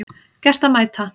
Gert að mæta